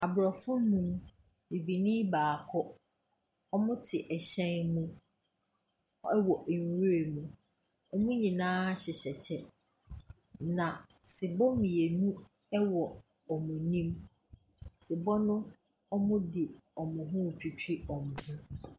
Aborɔfo nnum, bibini baako, wɔte hyɛn mu wɔ nwura mu. Wɔn nyinaa hyehyɛ kyɛ, na sebɔ mmienu wɔ wɔn anim. Sebɔ no, wɔde wɔn ho retwitwi wɔn ho.